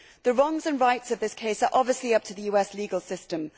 The wrongs and rights of this case are obviously up to the US legal system.